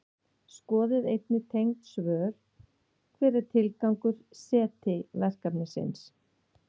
Skoðið einnig tengd svör: Hver er tilgangur SETI-verkefnisins?